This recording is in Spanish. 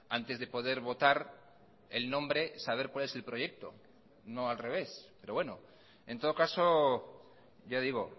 antes de poder votar el nombre saber cuál es el proyecto no al revés pero bueno en todo caso ya digo